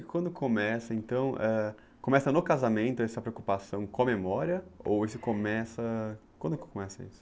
E quando começa, então, ãh, começa no casamento essa preocupação com a memória ou isso começa... Quando que começa isso?